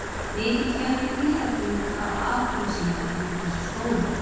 Mikill fjöldi dýrategunda á afkomu sína undir þessu skóglendi.